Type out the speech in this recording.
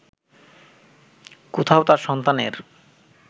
কোথাও তার সন্তানের